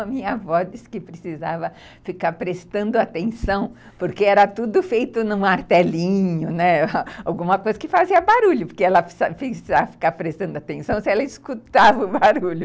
A minha avó disse que precisava ficar prestando atenção, porque era tudo feito num martelinho, né, alguma coisa que fazia barulho, porque ela precisava ficar prestando atenção se ela escutava o barulho.